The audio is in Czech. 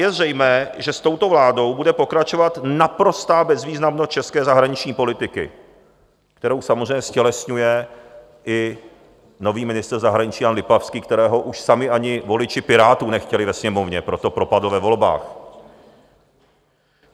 Je zřejmé, že s touto vládou bude pokračovat naprostá bezvýznamnost české zahraniční politiky, kterou samozřejmě ztělesňuje i nový ministr zahraničí Jan Lipavský, kterého už sami ani voliči Pirátů nechtěli ve Sněmovně, proto propadl ve volbách.